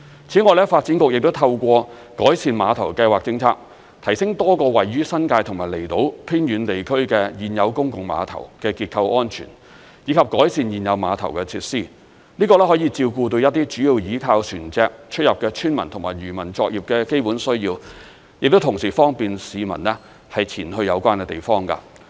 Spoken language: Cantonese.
此外，發展局亦透過改善碼頭計劃政策，提升多個位於新界及離島偏遠地區的現有公共碼頭的結構安全，以及改善現有碼頭的設施，這可以照顧到一些主要倚靠船隻出入的村民及漁民作業的基本需要，同時亦方便市民前往有關地方。